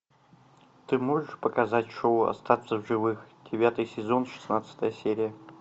ты можешь показать шоу остаться в живых девятый сезон шестнадцатая серия